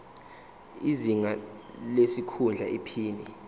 izinga lesikhundla iphini